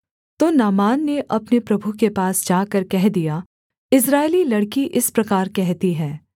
तो नामान ने अपने प्रभु के पास जाकर कह दिया इस्राएली लड़की इस प्रकार कहती है